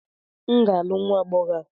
M ga-alụ nwa agbọhọ a